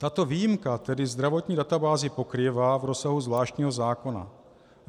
Tato výjimka tedy zdravotní databázi pokrývá v rozsahu zvláštního zákona.